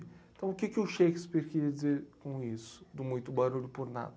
Então, o que que o Shakespeare quis dizer com isso, do muito barulho por nada?